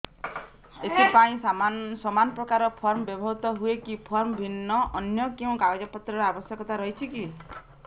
ଏଥିପାଇଁ ସମାନପ୍ରକାର ଫର୍ମ ବ୍ୟବହୃତ ହୂଏକି ଫର୍ମ ଭିନ୍ନ ଅନ୍ୟ କେଉଁ କାଗଜପତ୍ରର ଆବଶ୍ୟକତା ରହିଛିକି